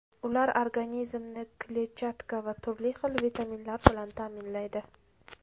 Ular organizmni kletchatka va turli xil vitaminlar bilan ta’minlaydi.